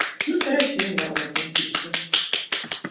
ну стараюсь с юмором относиться